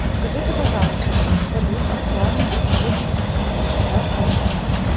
подскажите пожалуйста курс валют актуальный на сегодняшнюю минуту втб